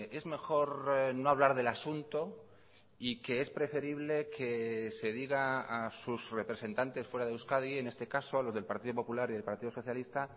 es mejor no hablar del asunto y que es preferible que se diga a sus representantes fuera de euskadi en este caso a los del partido popular y del partido socialista